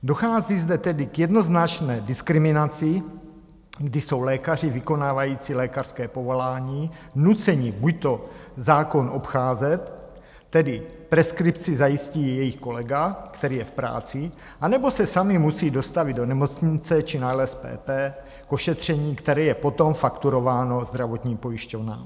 Dochází zde tedy k jednoznačné diskriminaci, kdy jsou lékaři vykonávající lékařské povolání nuceni buďto zákon obcházet, tedy preskripci zajistí jejich kolega, který je v práci, nebo se sami musí dostavit do nemocnice či na LSPP k ošetření, které je potom fakturováno zdravotním pojišťovnám.